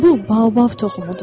Bu Baobab toxumudur.